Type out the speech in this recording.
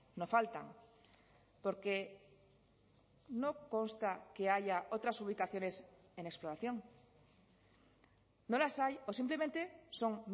no faltan porque no consta que haya otras ubicaciones en exploración no las hay o simplemente son